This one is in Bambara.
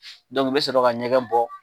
u bɛ sɔrɔ ka ɲɛgɛn bɔ.